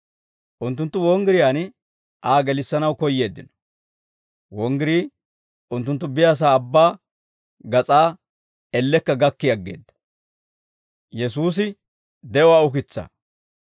Unttunttu wonggiriyaan Aa gelissanaw koyyeeddino; wonggirii unttunttu biyaasaa abbaa gas'aa ellekka gakki aggeedda.